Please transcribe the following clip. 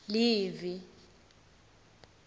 livi